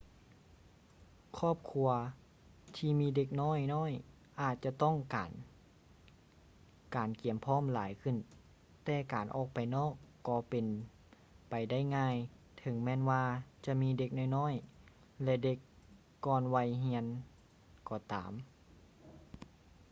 ຄອບຄົວທີ່ມີເດັກນ້ອຍໆອາດຈະຕ້ອງການການກຽມພ້ອມຫຼາຍຂຶ້ນແຕ່ການອອກໄປນອກກໍເປັນໄປໄດ້ງ່າຍເຖິງແມ່ນວ່າຈະມີເດັກນ້ອຍໆ ແລະ ເດັກກ່ອນໄວຮຽນກໍຕາມ